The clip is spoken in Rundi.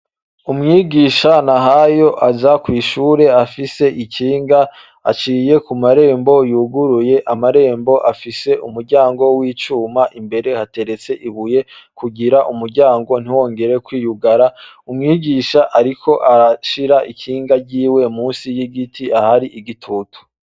Umwigisha Nahayo aza kw'ishure afise ikinga. Aciye ku marembo yuguruye, amarembo afise umuryango w'icuma. Imbere hateretse ibuye kugira umuryango ntiwongere kwiyugara. Umwigisha ariko arashira ikinga ryiwe musi y'igiti ahari igitutu.